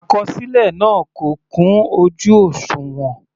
Àkọsílẹ náà kò kún ojú òṣùwọ̀n.